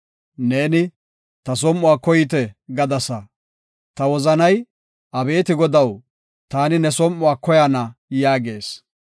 Neeni, “Ta som7uwa koyite” gadasa, ta wozanay Abeeti Godaw, “Ta ne som7uwa koyana” yaagis.